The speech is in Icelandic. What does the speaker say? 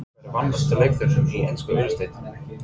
Hver er vanmetnasti leikmaðurinn í ensku úrvalsdeildinni?